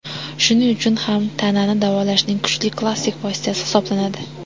Shuning uchun ham tanani davolashning kuchli klassik vositasi hisoblanadi.